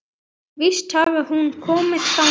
Víst hafði hún komið þangað.